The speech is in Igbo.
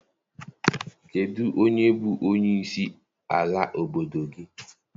Kedụ onye bụ onye isi ala obodo gị?